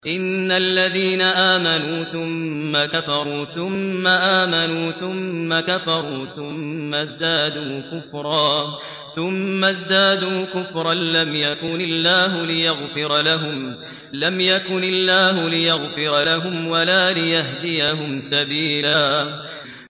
إِنَّ الَّذِينَ آمَنُوا ثُمَّ كَفَرُوا ثُمَّ آمَنُوا ثُمَّ كَفَرُوا ثُمَّ ازْدَادُوا كُفْرًا لَّمْ يَكُنِ اللَّهُ لِيَغْفِرَ لَهُمْ وَلَا لِيَهْدِيَهُمْ سَبِيلًا